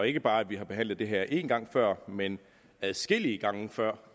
ikke bare behandlet det her én gang før men adskillige gange før